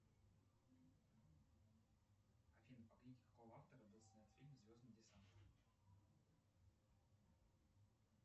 афина по книге какого автора был снят фильм звездный десант